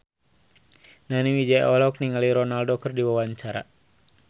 Nani Wijaya olohok ningali Ronaldo keur diwawancara